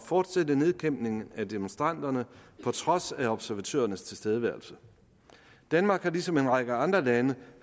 fortsætte nedkæmpningen af demonstranterne på trods af observatørernes tilstedeværelse danmark har ligesom en række andre lande